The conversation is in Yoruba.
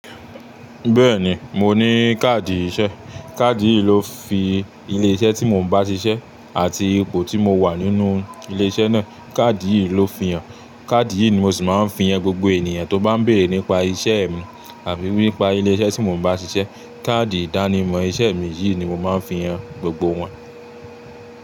Bẹ́ẹ̀ni, mo ní káàdì iṣẹ́. Káàdì yìí ló fi ilé iṣẹ́ tí mo ń bá ṣiṣẹ́ àti ipò tí mo wà nínú ilé iṣẹ́ náà. Káàdì yìí ló fi hàn. Káàdì yìí ni mo sì máa ń fi hàn gbogbo ènìyàn tó bá ń béèrè nípa iṣẹ́ mi àbí nípa ilé iṣẹ́ tí mo ń bá ṣiṣẹ́. Káàdì ìdánimọ̀ iṣẹ́ mi yìí ni mo máa ń fi hàn gbogbo wọn.